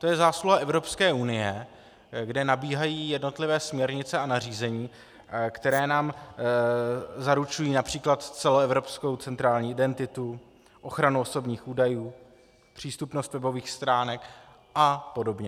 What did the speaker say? To je zásluha Evropské unie, kde nabíhají jednotlivé směrnice a nařízení, které nám zaručují například celoevropskou centrální identitu, ochranu osobních údajů, přístupnost webových stránek a podobně.